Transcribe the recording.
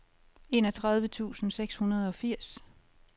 enogtredive tusind seks hundrede og firs